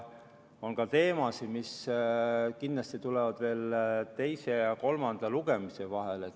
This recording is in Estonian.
On ka teemasid, mis kindlasti tulevad veel teise ja kolmanda lugemise vahel.